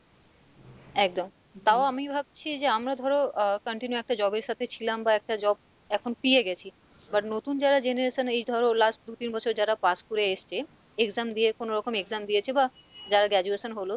একদম তাও আমি ভাবছি যে আমরা ধরো আহ continue একটা job এর সাথে ছিলাম বা একটা job এখন পিয়ে গেছি but নতুন যারা generation এই ধরো last দু তিন বছরে যারা pass করে এসছে exam দিয়ে কোনো রকম exam দিয়েছে বা যারা graduation হলো,